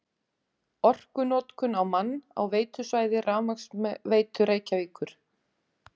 Orkunotkun á mann á veitusvæði Rafmagnsveitu Reykjavíkur